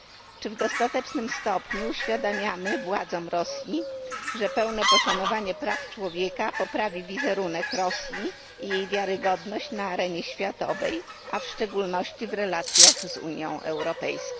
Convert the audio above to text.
Czy w dostatecznym stopniu uświadamiamy władzom Rosji, że pełne poszanowanie praw człowieka poprawi wizerunek Rosji i jej wiarygodność na arenie światowej, a w szczególności w relacjach z Unią Europejską?